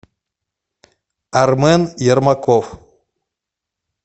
армен ермаков